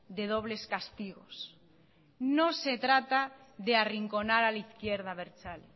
de dobles castigos no se trata de arrinconar a la izquierda abertzale